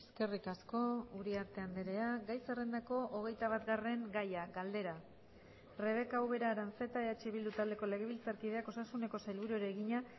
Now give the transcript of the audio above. eskerrik asko uriarte andrea gai zerrendako hogeitabatgarren gaia galdera rebeka ubera aranzeta eh bildu taldeko legebiltzarkideak osasuneko sailburuari egina